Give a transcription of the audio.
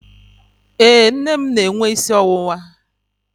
Ee, nne m na-enwe isi ọwụwa.